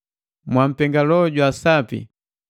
Mwampenga Loho jwa Sapi,